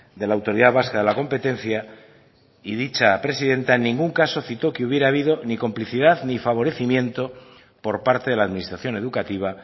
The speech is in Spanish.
de la autoridad vasca de la competencia y dicha presidenta en ningún caso cito que hubiera habido ni complicidad ni favorecimiento por parte de la administración educativa